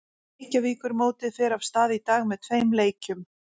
Reykjavíkurmótið fer af stað í dag með tveim leikjum.